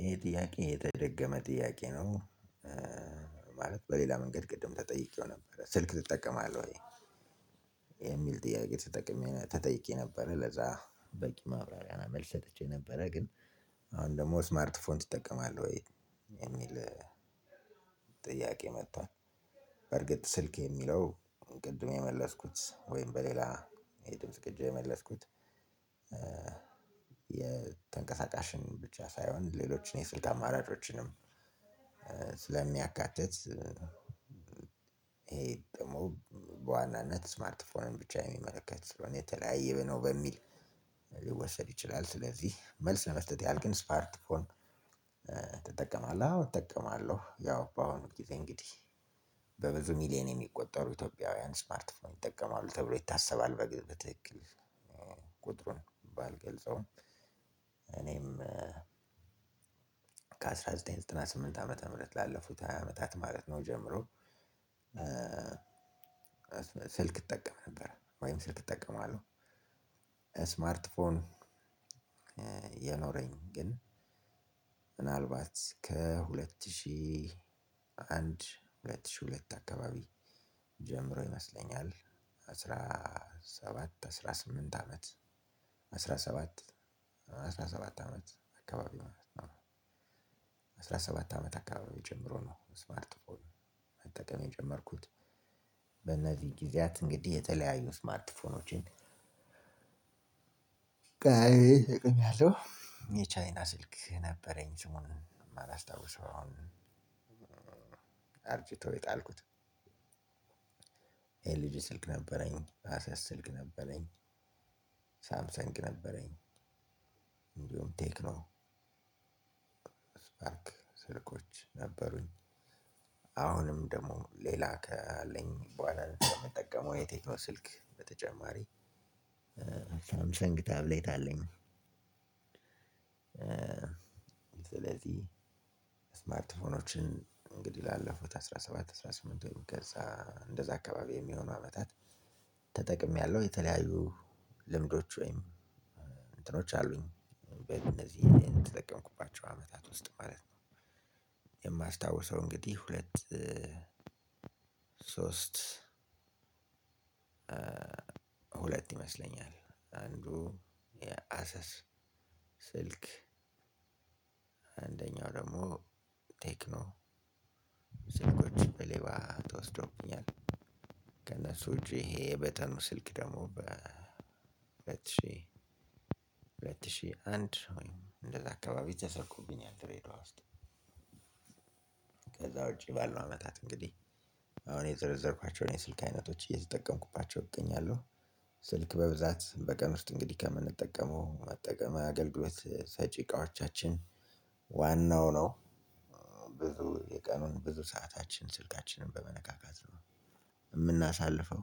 ይሄ ጥያቄ የተደገመ ጥያቄ ነው። ማለት በሌላ መንገድ ቅድም ተጠይቄው ነበር ስልክ ትጠቀማለህ ወይ? የሚል ጥያቄ ትጠቅሜ ተጠይቄ ነበር። ለዛ በቂ ማብራሪያ መልስ ሰጥቼ ነበረ ግን አሁን ደግሞ ስማርት ፎን ይጠቀማል ወይ የሚል ጥያቄ መጥቷል። በርግጥ ስልክ የሚለው ቅድም የመለስኩት ወይም በሌላ የድምጽ ቅጂ የመለስኩት። የተንቀሳቃሽን ብቻ ሳይሆን ሌሎችን የስልክ ማራጮችንም ስለሚያካትት ይሄ ደግሞ በዋናነት ስማርት ፎን ብቻ የሚመለከት ሰለሆነ የተለያየ ነው በሚል ሊወሰድ ይችላል። ሰለዚህ መልስ ለመስጠት ያህል ግን ስማርት ፎን? ትጠቀማለህ አዎ እጠቀማለሁ። ያው በአሁኑ ጊዜ እንግዲህ በብዙ ሚሊየን የሚቆጠሩ ኢትዮጵያውያን ስማርት ፎርም ይጠቀማሉ ተብሎ ይታሰባል በትክክል ቁጥሩን ባልገልጸውም። እኔም ከአንድ ሺህ ዘጠኝ መቶ ዘጠና ስምንት ዓመተ ምህረት ላለፉት ሃያ አመታት ማለት ነው ጀምሮ ስልክ እጠቀም ነበር ወይም ስልክ እጠቀማለሁ። ስማርት ፎን የኖረኝ ግን ምናልባት ከሁለት ሺህ አንድ ሁለት ሺህ ሁለት አካባቢ ጀምሮ ይመስለኛል። አስራ ሰባት አስራ ስምንት አመት አስራ ሰባት አስራ ሰባት አመት አካባቢ ነው። አስራ ሰባት አመት አካባቢ ጀምሮ ነው ስማርት ፎር መጠቀም የጀመርኩት። ጊዜያት እንግዲህ የተለያዩ ስማርትፎኖችን ቀያይሬ ተጠቅሜአሁ። የቻይና ስልክ ነበረኝ ስሙን አላስታውሰውም የጣልኩት። ኤልጂ ስልክ ነበረኝ አሰስ ስልክ ነበረኝ። ሳምሰንግ ነበረኝ። ቴክኖ ስፓርክ ስልኮች ነበሩኝ። አሁንም ደግሞ ለላ ካለኝ በሁዋላ የምጠቀመው ቴክኖ ስልክ በተጨማሪ ሳምሰንግ ታብሌት አለኝ። ሰለዚህ ሰማርት ፎናችንን እንግዲ ላለፉት አስራ ሰባት አሰራ ስምንት ወይም ከዛ እንደዛ አካባቢ የሚሆኑ አመታት ተጠቅሜያለሁ የተለያዩ ልምዶች ወይም እንትኖች አሉኝ በእነዚህ የተጠቀምኩባቸው አመታት ውስጥ ማለት ነው። የማስታውሰው እንግዲህ ሁለት ሶስት ሁለት ይመስለኛል አንዱ አሰስ አንደኛው ደግሞ ቴክኖ ስልኮች በሌባ ተወስዶብኛል። ከእነሱ እጄ ይሄ የበተኑ ስልክ ደግሞ በሁለት ሺህ ሁለት ሺህ አንድ እንደዛ አካባቢ ተሰርቆብኛል ድሬድዋ ውስጥ። ከዛ ውጪ ባልነው አመታት እንግዲህ አሁን የዘረዘርኳቸውን የስልክ አይነቶች እየተጠቀምኩባቸው እገኛለሁ። ስልክ በብዛት በቀን ውስጥ እንግዲህ ከምንጠቀመው መጠቀም አገልግሎት ሰጪ እቃዎቻችን ዋናው ነው። ብዙ የቀኑን ብዙ ሰዓታችን ስልካችንን በመነካካት ነው የምናሳልፈው።